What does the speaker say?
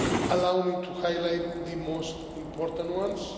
Allow me to highlight the most important ones.